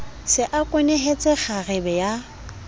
se a kwenehetse kgarebe ya